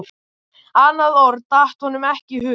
Annað orð datt honum ekki í hug.